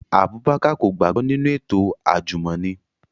Abubakar ko gbagbọ ninu eto ajumọni